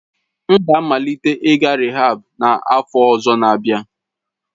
M ga-amalite ịga rịhaab n'afọ ọzọ n'abia.